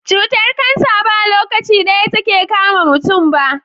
Cutar cancer ba lokaci daya take kama muntun ba